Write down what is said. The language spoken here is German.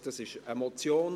Es ist eine Motion.